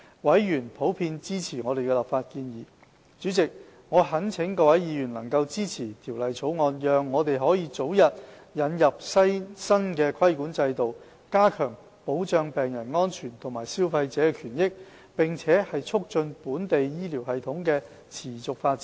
委員普遍支持我們的立法建議。主席，我懇請各位議員能夠支持《條例草案》，讓我們可以早日引入新規管制度，加強保障病人安全和消費者權益，並促進本地醫療系統持續發展。